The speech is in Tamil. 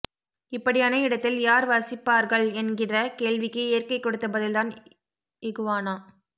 இப்படியான இடத்தில் யார் வசிப்பார்கள் என்கிற கேள்விக்கு இயற்கை கொடுத்த பதில்தான் இகுவானா